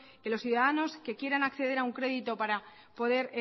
que los ciudadanos que quieran acceder a una crédito para poder